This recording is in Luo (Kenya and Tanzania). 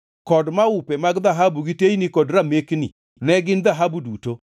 kod maupe mag dhahabu gi teyni kod ramekni (ne gin dhahabu duto);